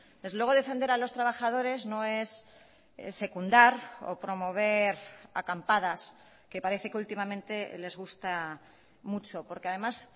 desde luego defender a los trabajadores no es secundar o promover acampadas que parece que últimamente les gusta mucho porque además